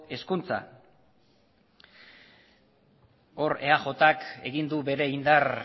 hezkuntza hor eajk egin du bere indar